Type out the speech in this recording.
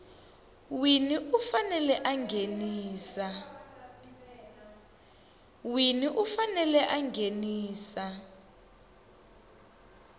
wini u fanele a nghenisa